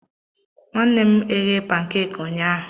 Nwanne m eghe pancakes ụnyahụ.